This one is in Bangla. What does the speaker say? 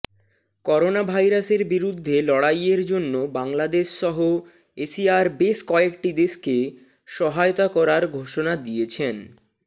করোনাভাইরাসের বিরুদ্ধে লড়াইয়ের জন্য বাংলাদেশসহ এশিয়ার বেশ কয়েকটি দেশকে সহায়তা করার ঘোষণা দিয়েছেন